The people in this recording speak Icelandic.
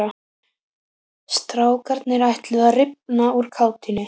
Strákarnir ætluðu að rifna úr kátínu.